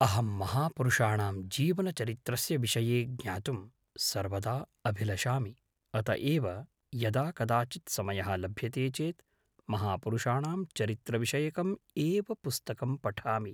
अहं महापुरुषाणां जीवनचरित्रस्य विषये ज्ञातुं सर्वदा अभिलषामि अत एव यदा कदाचित् समयः लभ्यते चेत् महापुरुषाणां चरित्रविषयकम् एव पुस्तकं पठामि